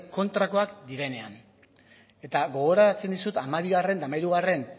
kontrakoak direnean eta gogorarazten dizut hamabigarren eta hamahirugarren